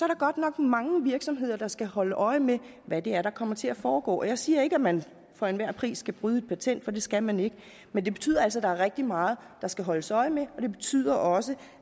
der godt nok mange virksomheder der skal holde øje med hvad der der kommer til at foregå jeg siger ikke at man for enhver pris skal bryde et patent for det skal man ikke men det betyder altså at der er rigtig meget der skal holdes øje med og det betyder også